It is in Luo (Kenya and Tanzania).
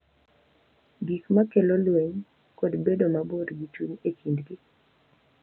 Gik ma kelo lweny, kod bedo mabor gi chuny e kindgi.